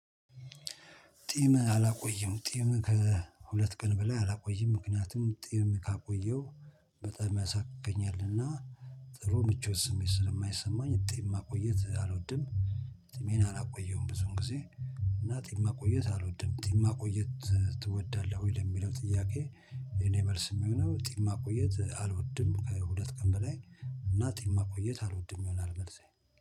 ጢም አላቆየም ጢም ከሁለት ቀን በላይ አላቆይም ምክንያቱም ጢም ካቆየው በጣም ያሳክከኛልና ጥሩ ምቾት ስሜት ስለማይሰማኝ ጢም ማቆየት አልወድም ጥሜን አላቆየሁም ብዙን ጊዜ እና ጥም ማቆየት አልወድም። ጥም ማቆየት ትወዳለህ ወይ ለሚለው ጥያቄ እኔ መልስ የሚሆነው ጢም ማቆየት አልወድም። ከሁለት ቀን በላይ እና ጢም ማቆየት አልወድም ይሆናል መልሳዬ።